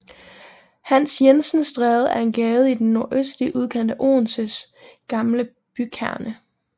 Hans Jensens Stræde er en gade i den nordøstlige udkant af Odenses gamle bykerne